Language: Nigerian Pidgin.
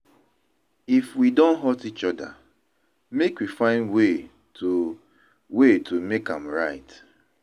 If we don hurt each other, make we find way to way to make am right.